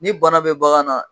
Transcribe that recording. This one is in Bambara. Ni bana bɛ bagan na